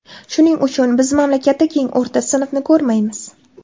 Shuning uchun biz mamlakatda keng o‘rta sinfni ko‘rmaymiz.